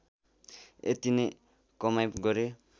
यति नै कमाइ गरे